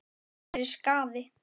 Það væri skaði.